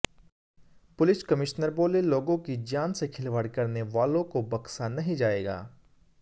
police commissioner बोले लोगों की जान से खिलवाड़ करने वालों को बख्शा नहीं जायेगा